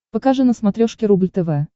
покажи на смотрешке рубль тв